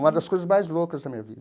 Uma das coisas mais loucas da minha vida.